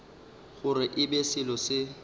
gore e be selo se